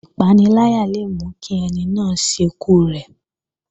Ìpaniláyà le mú kí ẹni náà ṣekú rẹ̀